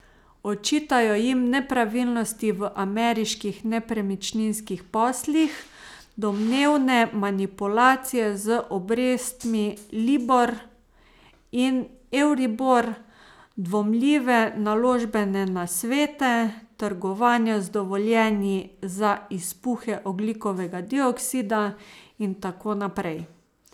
Očitajo jim nepravilnosti v ameriških nepremičninskih poslih, domnevne manipulacije z obrestmi libor in evribor, dvomljive naložbene nasvete, trgovanja z dovoljenji za izpuhe ogljikovega dioksida in tako naprej.